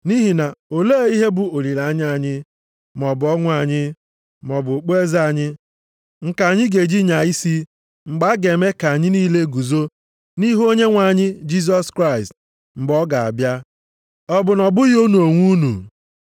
Nʼihi na olee ihe bụ olileanya anyị, maọbụ ọṅụ anyị, maọbụ okpueze anyị, nke anyị ga-eji nyaa isi mgbe a ga-eme ka anyị niile guzo nʼihu Onyenwe anyị Jisọs Kraịst, mgbe ọ ga-abịa? Ọ bụ na ọ bụghị unu onwe unu?